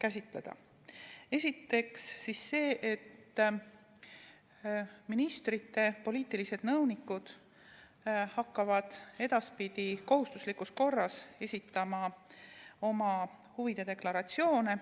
Esiteks see, et ministrite poliitilised nõunikud hakkavad edaspidi kohustuslikus korras esitama oma huvide deklaratsioone.